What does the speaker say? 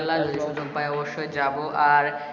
ভাই অবশ্যই যাবো আর,